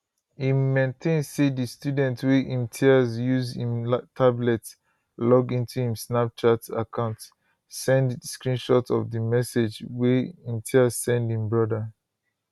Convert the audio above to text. im maintain say di student wey imtiaz use im tablet log into im snapchat account send screenshot of di message wey imtiaz send im brother